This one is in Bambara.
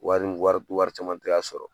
Wari in wari wari caman te ka sɔrɔ